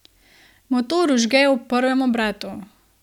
Motor vžge ob prvem obratu.